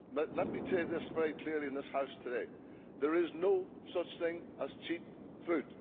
Let me say this very clearly in this House today there is no such thing as cheap food.